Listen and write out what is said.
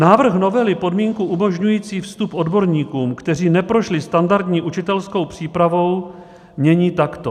Návrh novely podmínku umožňující vstup odborníkům, kteří neprošli standardní učitelskou přípravou, mění takto.